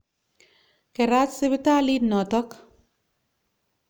Kerat sipitalit notok.